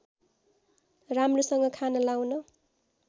राम्रोसँग खान लाउन